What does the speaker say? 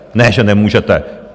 Ne že nemůžete.